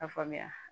A faamuya